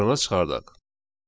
dənə çıxardın.